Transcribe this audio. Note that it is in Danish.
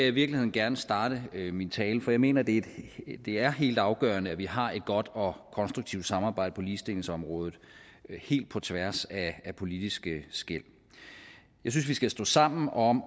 i virkeligheden gerne starte min tale for jeg mener det er helt afgørende at vi har et godt og konstruktivt samarbejde på ligestillingsområdet helt på tværs af politiske skel jeg synes vi skal stå sammen om